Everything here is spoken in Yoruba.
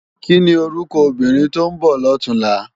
Kini órúkò óbìrín tó n bò lòtúnlá?